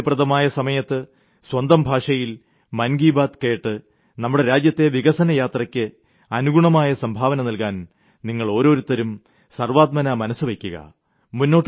നമ്മുടെ സൌകര്യപ്രദമായ സമയത്ത് സ്വന്തം ഭാഷയിൽ മൻ കി ബാത് ശ്രവിച്ച് നമ്മുടെ രാജ്യത്തെ വികസന യാത്രയ്ക്ക് അനുഗുണമായ സംഭാവന നൽകാൻ നിങ്ങൾ ഓരോരുത്തരും സർവ്വാത്മനാ മനസ്സുവെയ്ക്കുക